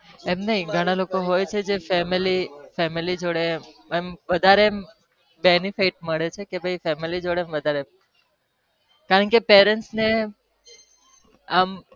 એમ નહી ઘણા લોકો હોય છે જે family જોડે અમ વધારે banifit મળે છે કારણ parents ને આમ